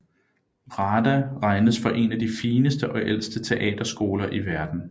RADA regnes for én af de fineste og ældste teaterskoler i verden